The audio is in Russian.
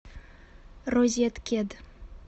розеткед